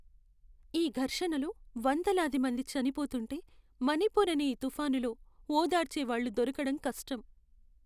ఈ ఘర్షణలో వందలాది మంది చనిపోతుంటే, మణిపూర్ అనే ఈ తుఫానులో ఓదార్చే వాళ్ళు దొరకటం కష్టం.